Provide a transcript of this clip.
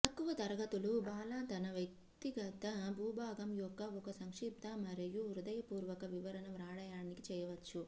తక్కువ తరగతులు బాల తన వ్యక్తిగత భూభాగం యొక్క ఒక సంక్షిప్త మరియు హృదయపూర్వక వివరణ వ్రాయడానికి చేయవచ్చు